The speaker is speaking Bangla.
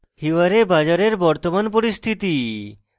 hiware bazar এর বর্তমান স্থিতি